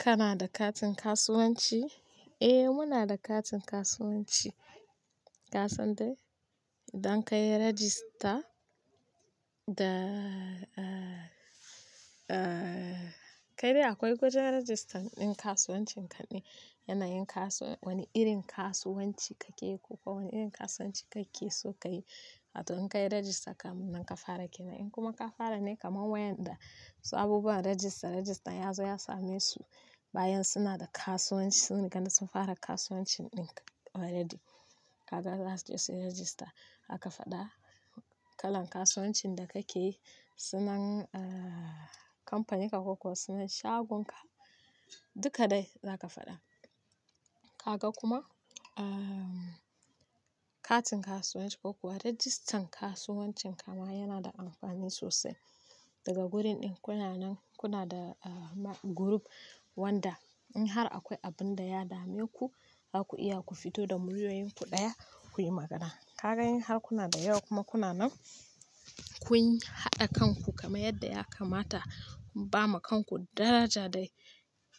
Kana da katin kasuwanci? Eh muna da katin kasuwanci. Ka san dai, idan ka yi rajista da, eh, eh, kai dai akwai gwajin rajistan ɗin kasuwancin kaɗai. Yana yin kasuwan irin kasuwanci kake yi ko kuwa wani irin kasuwanci kake so ka yi. To in ka yi rajista kam nan ka fara kai. Nan kuma ka fara ne kamar wayanda su abubuwan rajista, rajistan ya zo ya same su bayan suna da kasuwanci. Sun yi kaɗai sun fara kasuwancin ɗin. Waɗanda ka ga za su je su yi rajista, aka faɗa kalan kasuwancin da kake yi, sunan, ah, kamfaninka ko kuwa sunan shagunka, duka dai za ka faɗa. Ka ga kuma, ah, katin kasuwanci ko kuwa rajistan kasuwancin ka ma yana da amfani sosai. Daga gurin ɗin kuna nan, kuna da, ah, guruf wanda in har akwai abin da ya dame ku, zaku iya ku fito da muryoyinku ɗaya kuyi magana. Ka ga in har kuna da yawa kuma kuna nan kun haɗa kanku kamar yadda ya kamata, kun ba ma kanku daraja dai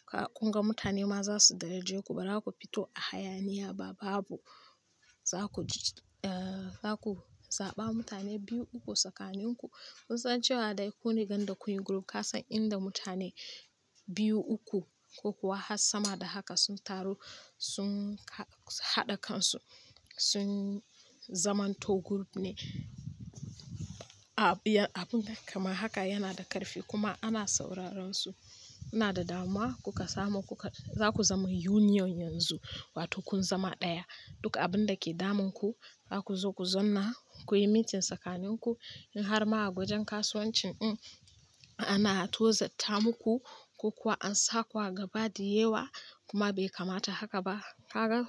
ka ƙunga mutane ma za su daraje ku ba za ku fito a hayaniya ba. Babu. Za ku ji, ah, za ku zaɓa mutane biyu uku tsakaninku. Kun san cewa dai kun riga da kun yi guruf, ka san inda mutane biyu uku ko kuwa har sama da haka sun taru sun haɗa kansu, sun zamanto guruf ne. Abun kama haka yana da ƙarfi kuma ana sauraron su. Yana da damuwa kuka samu, kuka, za ku zama union yanzu wato kun zama ɗaya. Duka abin da ke damun ku, za ku zo ku zonna, kuyi meeting tsakaninku. In har ma a gwajin kasuwancin in ana tozatta muku ko kuwa an saku a gabadi yewa kuma bai kamata haka ba, ka ga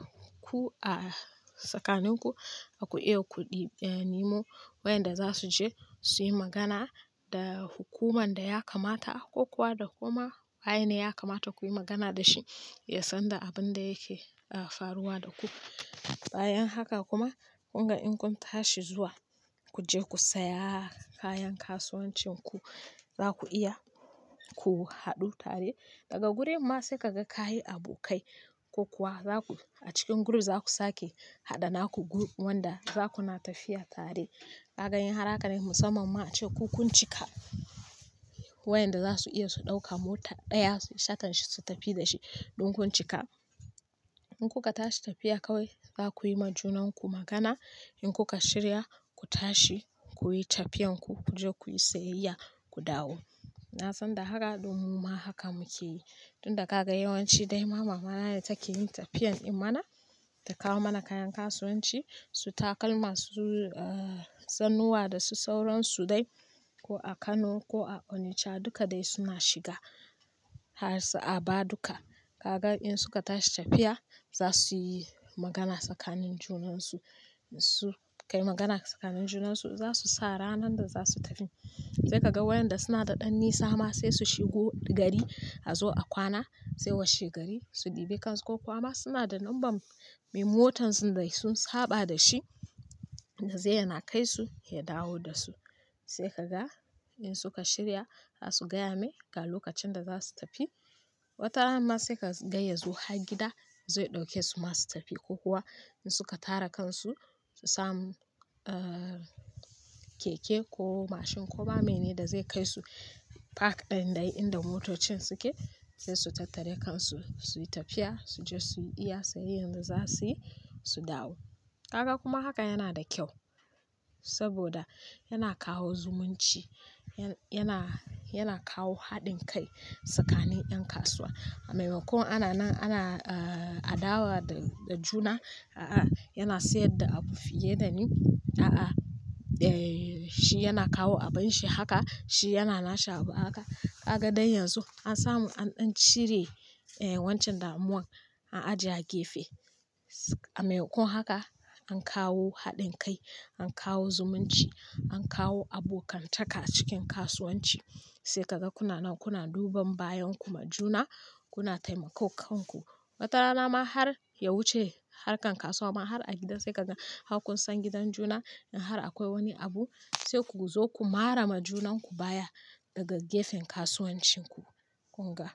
ku a tsakaninku, za ku iya ku ɗibani mo wayanda za su je su yi magana da hukuman da ya kamata ko kuwa da kuma waye ne ya kamata kuyi magana da shi ya san da abin da yake, ah, faruwa da ku. Bayan haka kuma ƙunga in kun tashi zuwa ku je ku saya kayan kasuwancin ku, za ku iya ku haɗu tare. Daga gurin ma sai ka ga ka yi abokai ko kuwa za ku a cikin guruf za ku sake haɗa naku wanda za ku na tafiya tare. Ka ga in har haka ne musamman ma cewa kun cika wayanda za su iya su ɗauka mota ɗaya su yi shatan su tafi da shi ɗin kun cika. In kuka tashi tafiya kawai, za ku yi ma junanku magana. In kuka shirya ku tashi, kuyi tafiyarku ku je kuyi sayayya ku dawo. Na san da haka ɗin mu ma haka muke yi. Tun da kaga yawanci dai ma mama na ce take yin tafiyan in mana ta kawo mana kayan kasuwanci, su takalma, su, ah, zannuwa da su sauransu dai ko a Kano ko a Onicha duka dai suna shiga har su Aba duka. Ka ga in suka tashi tafiya, za su yi magana tsakanin junansu. Su kai magana tsakanin junansu za su sa ranar da za su tafi. Sai ka ga wayanda suna da ɗan nisa ma sai su shigo gari a zo a kwana sai washe gari su ɗibe kansu ko kuwa suna da number me motan dai sun haɓa da shi da zai yana kai su ya dawo da su. Sai ka ga in suka shirya za su gaya mai ga lokacin da za su tafi. Wata rana ma sai ka gaya zuwa gida zai ɗauke su masu tafiya ko kuwa in suka tara kansu su samu, ah, keke ko mashin ko ba menene da zai kai su park ɗin da inda motocin suke sai su tattare kansu suyi tafiya su je suyi iya sayayyar da za suyi su dawo. Ka ga kuma haka yana da kyau saboda yana kawo zumunci, yana, yana kawo haɗin kai tsakanin ƴan kasuwa. A maimakon ana nan ana, ah, adawa da juna, "a'a yana sayar da abu fiye da ni, a'a, eh, shi yana kawo abin shi haka, shi yana nasha abu haka." Ka ga dai yanzu an samu an ƙirƙire, eh, wancan damuwan an ajiye a gefe. A maimakon haka an kawo haɗin kai, an kawo zumunci, an kawo abokantaka a cikin kasuwanci. Sai ka ga kuna nan kuna duban bayan kuma juna kuna taimako kanku. Wata rana ma har ya wuce harkar kasuwa ma har a gida sai ka ga har kun san gidan juna in har akwai wani abu sai ku zo ku mara ma junanku baya daga gefen kasuwancin ku ƙunga.